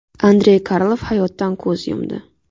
Andrey Karlov hayotdan ko‘z yumdi.